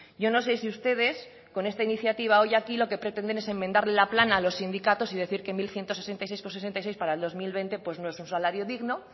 yo no sé si ustedes con esta iniciativa hoy aquí lo que pretender es enmendarle la plana a los sindicatos y decir que mil ciento sesenta y seis coma sesenta y seis para el dos mil veinte no es un salario digno